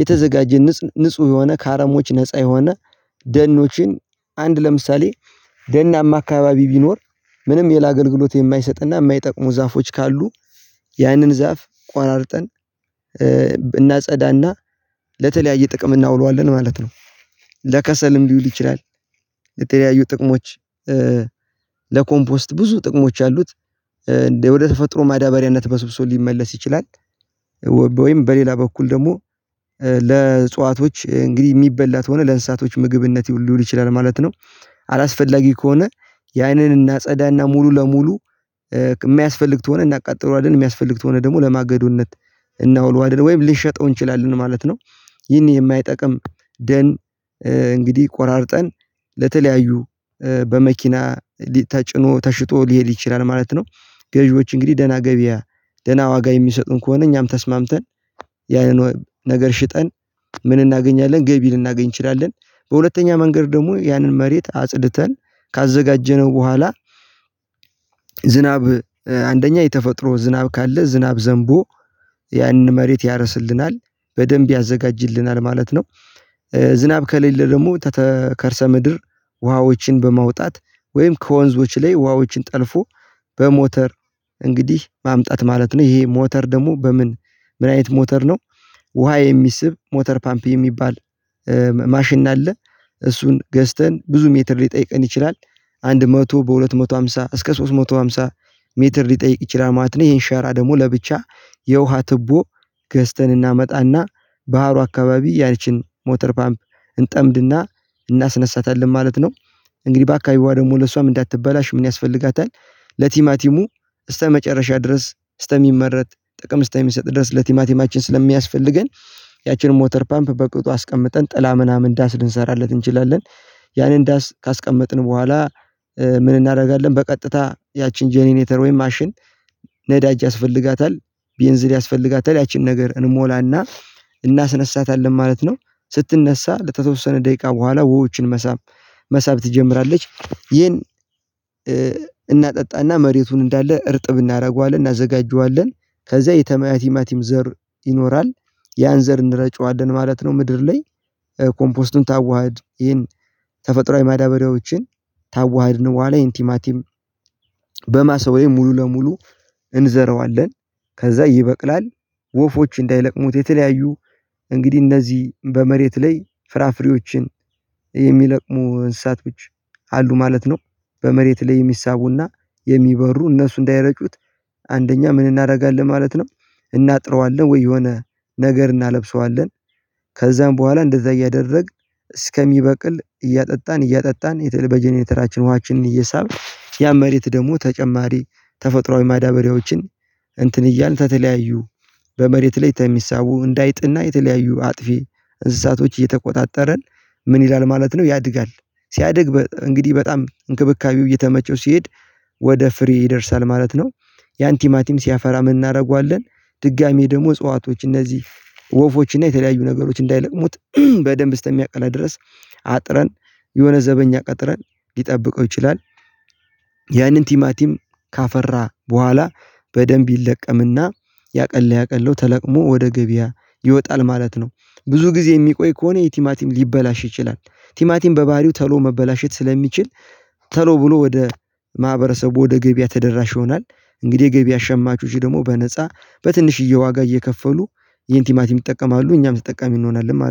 የተዘጋጀ ንጹ ንጹህ የሆነ ከአረሞች ነፃ የሆነ ደኖችን አንድ ለምሳሌ ደናማ አካባቢ ቢኖር ምንም ሌላ አገልግሎት የማይሰጥና የማይጠቅሙ ዛፎች ካሉ ያንን ዛፍ ቋራርጠን እናጸዳና ለተለያየ ጥቅም እናውለዋለን ማለት ነው። ለከሰልም ሊውል ይችላል። የተለያዩ ጥቅሞች ለኮምፖስት ብዙ ጥቅሞች አሉት። ወደ ተፈጥሮ ማዳበሪያነት በስብሶ ሊመለስ ይችላል። ወይም በሌላ በኩል ደግሞ ለእጽዋቶች እንግዲህ የሚበላ ተሆነ ለእንስሳቶች ምግብነት ሊውል ይችላል ማለት ነው። አላስፈላጊ ከሆነ ያንን እናጸዳና ሙሉ ለሙሉ የማይስፈልግ ተሆነ እናቃጥለዋለን የሚያስፈልግ ተሆነ ደግሞ ለማገዶነት እናውለዋለን ወይም ልንሸጠው እንችላለን ማለት ነው። ይህን የማይጠቅም ደን እንግዲህ ቆራርጠን ለተለያዩ በመኪና ተጭኖ ተሽጦ ሊሄድ ይችላል ማለት ነው። ገዢዎች እንግዲህ ደህና ገቢ ደህና ዋጋ የሚሰጡን ከሆነ እኛም ተስማምተን ያንን ነገር ሽጠን ምን እናገኛለን ገቢ ልናገኝ እንችላለን። በሁለተኛ መንገድ ደግሞ ያንን መሬት አጽድተን ካዘጋጀነው በኋላ ዝናብ አንደኛ የተፈጥሮ ዝናብ ካለ ዝናብ ዘንቦ ያንን መሬት ያረስልናል በደንብ ያዘጋጅልናል ማለት ነው። ዝናብ ከሌለ ደግሞ ተተከርሰ ምድር ውሃዎችን በማውጣት ወይም ከወንዞች ላይ ውሃዎችን ጠልፎ በሞተር እንግዲህ ማምጣት ማለት ነው። ይሄ ሞተር ደግሞ በምን ምን አይነት ሞተር ነው? ውሃ የሚስብ ሞተር ፓምፕ የሚባል ማሽን አለ። እሱን ገዝተን ብዙ ሜትር ሊጠይቀን ይችላል አንድ መቶ በሁለት መቶ ሃምሳ እስከ ሶስት መቶ ሃምሳ ሜትር ሊጠይቅ ይችላል ማት ነው። ይሄን ሸራ ደግሞ ለብቻ የውሃ ትቦ ገዝተን እናመጣና ባህሩ አካባቢ ያቺን ሞተር ፓምፕ እንጠምድና እናስነሳታለን ማለት ነው። እንግዲህ በአካባቢዋ ደግሞ ለእሷም እንዳትበላሽ ምን ያስፈልጋታል? ለቲማቲሙ እስተመጨረሻ ድረስ እስተሚመረት ጥቅም እስተሚሰጥ ድረስ ለቲማቲማችን ስለሚያስፈልገን ያቺን ሞተር ፓምፕ በቅጡ አስቀምጠን ጥላ ምናምን ዳስ ልንሰራለት እንችላለን ያኔ ዳስ ካስቀመጥን በኋላ ምን እናደርጋለን በቀጥታ ያችን ጀነሬተር ወይም ማሽን ነዳጅ ያስፈልጋታል ቤንዝል ያስፈልጋታል ያችን ነገር እንሞላና እናስነሳታለን ማለት ነው። ስትነሳ ለተወሰነ ደቂቃ በኋላ ውሃዎችን መሳብ ትጀምራለች ይሄን እናጠጣና መሬቱን እንዳለ እርጥብ እናደርገዋለን እናዘጋጀዋለን። ከዛ የቲማቲም ዘር ይኖራል ያን ዘር እንረጨዋለን ማለት ነው። ምድር ላይ ኮምፖስቱን ታዋህድ ይሄን ተፈጥራዊ ማዳበሪያዎችን ታዋህድነው በኋላ ይሄ ቲማቲም በማስ ወይም ሙሉ ለሙሉ እንዘረዋለን ከዛ ይበቅላል። ወፎች እንዳይለቅሙት የተለያዩ እንግዲህ እነዚህ በመሬት ላይ ፍራፍሬዎችን የሚለቅሙ እንስሳቶች አሉ ማለት ነው። በመሬት ላይ የሚሳቡና የሚበሩ እነሱ እንዳይረጩት አንደኛ ምን እናደርጋለን ማለት ነው? እናጥረዋለን ወይ የሆነ ነገር እናለብሰዋለን ከዛም በኋላ እንደዛ እያደረግን እስከሚበቅል እያጠጣን እያጠጣን በየተራችን ውሃችን እየሳብን ያም መሬት ደግሞ ተጨማሪ ተፈጥሮአዊ ማዳበሪያዎችን እንትን እያልን ተተለያዩ በመሬት ላይ ተሚሳቡ እንደ አይጥና የተለያዩ አጥፊ እንስሳቶች እየተቆጣጠረን ምን ይላል ማለት ነው። ያድጋል ሲያድግ እንግዲህ በጣም እንክብካቤው እየተመቸው ሲሄድ ወደ ፍሬ ይደርሳል ማለት ነው። ያን ቲማቲም ሲያፈራ ምን እናደርገዋለን ድጋሚ ደግሞ እጽዋቶች እነዚህ ወፎች እና የተለያዩ ነገሮች እንዳይለቅሙት በደንብ ስተሚያቀላ ድረስ አጥረን የሆነ ዘበኛ ቀጥረን ሊጠብቀው ይችላል። ያንን ቲማቲም ካፈራ በኋላ በደንብ ይለቀምና ያቀለ ያቀለው ተለቅሞ ወደ ገበያ ይወጣል ማለት ነው። ብዙ ጊዜ የሚቆይ ከሆነ የቲማቲም ሊበላሽ ይችላል ቲማቲም በባህሪው ተሎ መበላሸት ስለሚችል ቶሎ ብሎ ወደ ማህበረሰቡ ወደ ገበያ ተደራሽ ይሆናል። እንግዲህ የገበያ ሸማቾች ደግሞ በነፃ በትንሽዬ ዋጋ እየከፈሉ ይሄን ቲማቲም ይጠቀማሉ እኛም ተጠቃሚ እንሆናለን